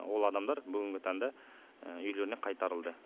ол адамдар бүгінгі таңда үйлеріне қайтарылды